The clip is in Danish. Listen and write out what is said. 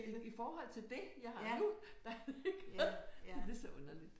I forhold til det jeg har nu der er det ikke. Det er så underligt